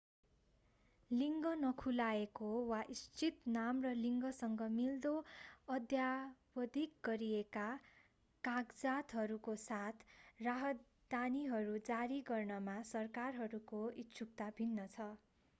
लिङ्ग नखुलाएको x वा इच्छित नाम र लिङ्गसँग मिल्दो अद्यावधिक गरिएका कागजातहरूको साथ राहदानीहरू जारी गर्नमा सरकारहरूको इच्छुकता भिन्न छ।